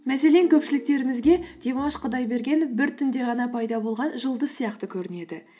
мәселен көпшіліктерімізге димаш құдайбергенов бір түнде ғана пайда болған жұлдыз сияқты көрінеді